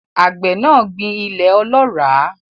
Àgbẹ̀ náà gbìn ilẹ̀ ọlọ́ràá.